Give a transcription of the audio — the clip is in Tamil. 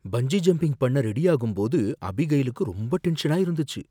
பஞ்சி ஜம்பிங் பண்ண ரெடி ஆகும்போது அபிகைலுக்கு ரொம்ப டென்ஷனா இருந்துச்சு.